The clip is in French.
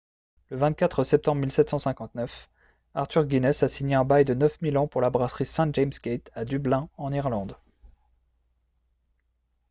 le 24 septembre 1759 arthur guinness a signé un bail de 9 000 ans pour la brasserie st james' gate à dublin en irlande